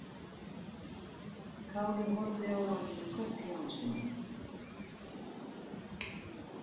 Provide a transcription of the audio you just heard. Kári horfði á hana með kökk í hálsinum.